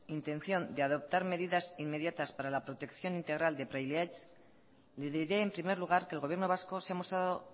intención de adoptar medidas inmediatas para la protección integral de praileaitz le diré en primer lugar que el gobierno vasco se ha mostrado